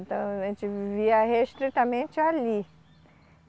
Então a gente vivia restritamente ali.